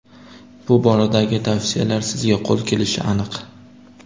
Bu boradagi tavsiyalar sizga qo‘l kelishi aniq.